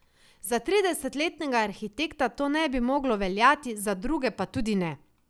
Za tridesetletnega arhitekta to ne bi moglo veljati, za druge pa tudi ne.